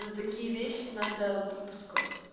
за такие вещи надо попускать